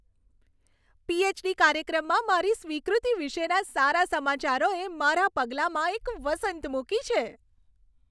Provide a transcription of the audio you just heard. PhD. કાર્યક્રમમાં મારી સ્વીકૃતિ વિશેના સારા સમાચારોએ મારા પગલામાં એક વસંત મૂકી છે.